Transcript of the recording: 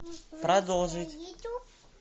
продолжить